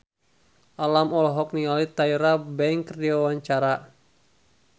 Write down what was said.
Alam olohok ningali Tyra Banks keur diwawancara